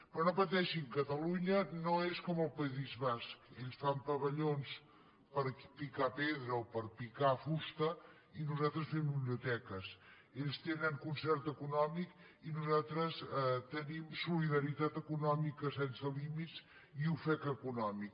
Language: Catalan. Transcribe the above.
però no pateixin catalunya no és com el país basc ells fan pavellons per picar pedra o per picar fusta i nosaltres fem biblioteques ells tenen concert econòmic i nosaltres tenim solidaritat econòmica sense límits i ofec econòmic